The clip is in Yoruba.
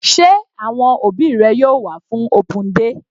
Sé àwọn òbí rẹ yóò wá fún open day?